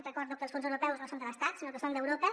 recordo que els fons europeus no són de l’estat sinó que són d’europa